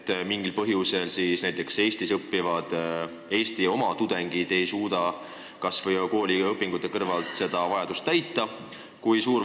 Ja kas mingil põhjusel Eestis õppivad Eesti oma tudengid ei suuda kooli kõrvalt seda vajadust täita?